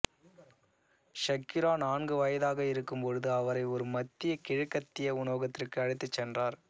Shakira நான்கு வயதாக இருக்கும்பொழுது அவரை ஒரு மத்திய கிழக்கத்திய உணவகத்திற்கு அழைத்துச் சென்றார்